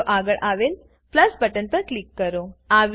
video આગળ આવેલ plus button પર ક્લિક કરો